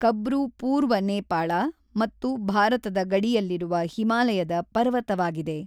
ಕಬ್ರು ಪೂರ್ವ ನೇಪಾಳ ಮತ್ತು ಭಾರತದ ಗಡಿಯಲ್ಲಿರುವ ಹಿಮಾಲಯದ ಪರ್ವತವಾಗಿದೆ.